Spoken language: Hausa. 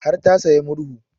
Har ta sayi murhu